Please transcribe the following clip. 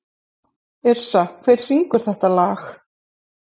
Yrsa, hver syngur þetta lag?